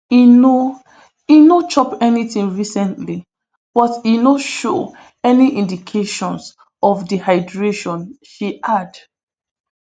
e no e no chop anytin recently but e no show any indications of dehydration she add